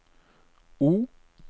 O